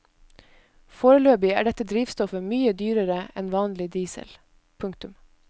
Foreløpig er dette drivstoffet mye dyrere enn vanlig diesel. punktum